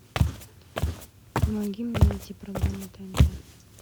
помоги мне найти программу тнт